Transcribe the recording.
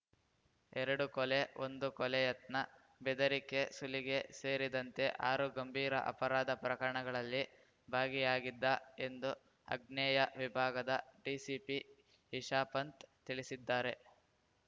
ಎರಡು ಕೊಲೆ ಒಂದು ಕೊಲೆ ಯತ್ನ ಬೆದರಿಕೆ ಸುಲಿಗೆ ಸೇರಿದಂತೆ ಆರು ಗಂಭೀರ ಅಪರಾಧ ಪ್ರಕರಣಗಳಲ್ಲಿ ಭಾಗಿಯಾಗಿದ್ದ ಎಂದು ಅಗ್ನೇಯ ವಿಭಾಗದ ಡಿಸಿಪಿ ಇಶಾಪಂಥ್ ತಿಳಿಸಿದ್ದಾರೆ